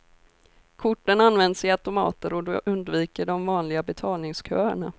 Korten används i automater och du undviker de vanliga betalningsköerna.